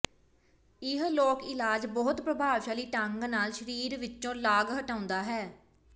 ਇਹ ਲੋਕ ਇਲਾਜ ਬਹੁਤ ਪ੍ਰਭਾਵਸ਼ਾਲੀ ਢੰਗ ਨਾਲ ਸਰੀਰ ਵਿੱਚੋਂ ਲਾਗ ਹਟਾਉਂਦਾ ਹੈ